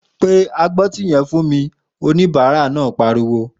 Pe agbọ́tí yẹn fún mi!', òníbàárà náà pariwo